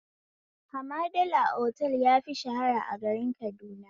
Hamadala otal yafi shahara a garin Kaduna